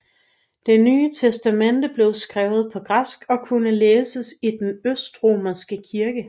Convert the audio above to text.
Det Nye Testamente blev skrevet på græsk og kunne læses i den østromerske kirke